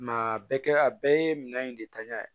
a bɛɛ kɛ a bɛɛ ye minɛn in de ta ɲan